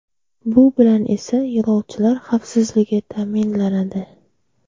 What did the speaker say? Bu bilan esa yo‘lovchilar xavfsizligi ta’minlanadi”.